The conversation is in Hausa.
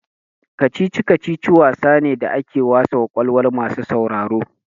Kicici-kacici wasa ne da ake wasa kwakwalwa masu sauraro.